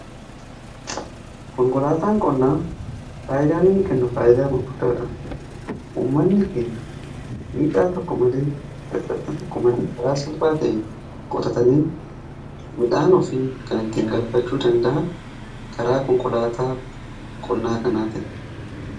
Konkolaataan qonnaa faayidaan inni kennu faayidaa gurgudaadha. Uummanni keenya miidhaa tokko male karaa salpaa ta'een qotatanii midhaan ofii kan ittiin galfachuu danda'an karaa konkolaataa qonnaa kanaatiini.